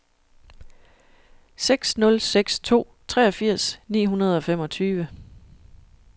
seks nul seks to treogfirs ni hundrede og femogtyve